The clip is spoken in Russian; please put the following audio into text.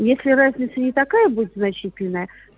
если разница не такая будет значительная